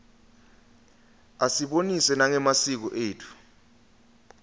asibonisa nangemasiko etfu